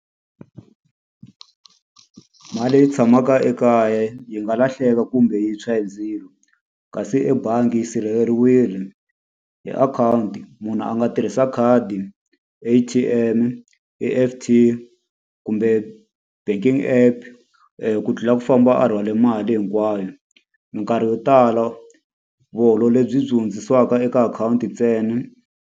Mali leyi tshamaka ekaya yi nga lahleka kumbe yitshwa hi ndzilo, kasi ebangi yi sirheleriwile hi akhawunti. Munhu a nga tirhisa khadi, A_T_M-e, E_F_T kumbe banking app ku tlula ku famba a rhwale mali hinkwayo. Minkarhi yo tala lebyi byi hundzisiwaka eka akhawunti ntsena.